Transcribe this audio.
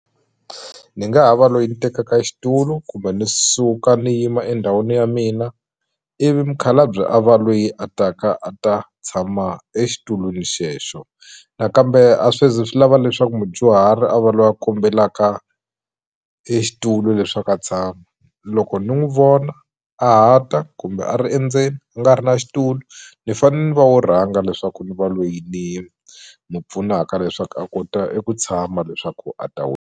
Ndzi nga ha va loyi ni tekaka xitulu kumbe ndzi suka ndzi yima endhawini ya mina ivi mukhalabye a va loyi a taka a ta tshama exitulwini xexo nakambe a swi zi swi lava leswaku mudyuhari a va loyi a kombelaka e xitulu leswaku a tshama loko ni n'wi vona a ha ta kumbe a ri endzeni a nga ri na xitulu ni fanele ni va wo rhanga leswaku ndzi va loyi ni ni pfunaka leswaku a kota eku tshama leswaku a ta .